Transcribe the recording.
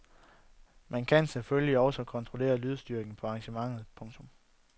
Man kan selvfølgelig også kontrollere lydstyrken på arrangementet. punktum